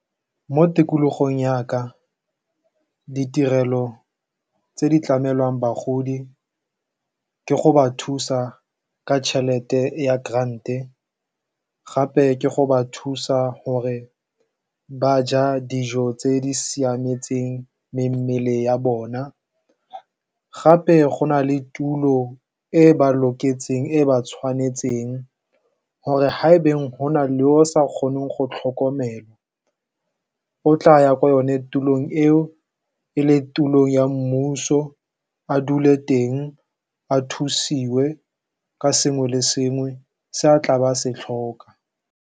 Mo tikologong ya ka ditirelo tse di tlamelwang bagodi ke go ba thusa ka tšhelete ya grant-e gape ke go ba thusa gore ba ja dijo tse di siametseng mmele ya bona. Gape go na le tulo e ba tshwanetseng gore haebeng go na le o sa kgoneng go tlhokomelwa o tla ya ko yone tulong eo, e le tulo ya mmuso a dule teng a thusiwe ka sengwe le sengwe se a tla ba se tlhoka.